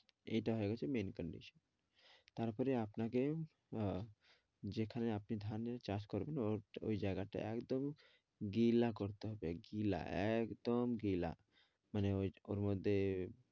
এটা হয়ে গেছে main condition । তারপরে আপনাকে আহ যেখানে আপনি ধানের চাষ করবেন ওর ঐ জায়গাটা একদম গিলা করতে হবে গিলা, একদম গিলা মানে ওর মধ্যে